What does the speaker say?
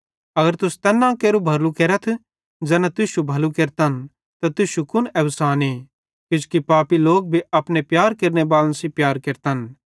अगर तुस तैन केरू भलू केरतथ ज़ैना तुश्शू भलू केरतन त तुश्शू कुन एवसाने किजोकि पापी लोक भी अपने प्यार केरनेबालन सेइं प्यार केरतन